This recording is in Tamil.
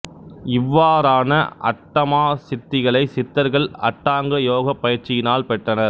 இவ்வாறான அட்டமா சித்திகளைச் சித்தர்கள் அட்டாங்க யோகப் பயிற்சியினால் பெற்றனர்